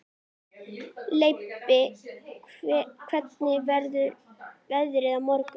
Mun þýski bankinn greiða bankaskatt?